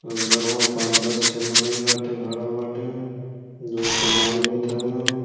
अंदरवा पाँच दस ठे मानई बाटे खड़ा बाटे जवन समान लेत हउवन।